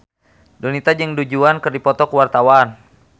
Donita jeung Du Juan keur dipoto ku wartawan